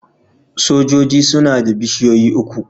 Sojoji suna da bishiyoyi uku.